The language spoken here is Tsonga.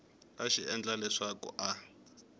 a xi endla leswaku a